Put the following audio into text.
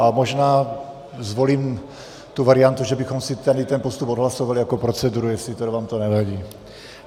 A možná zvolím tu variantu, že bychom si tady ten postup odhlasovali jako proceduru, jestli tedy vám to nevadí.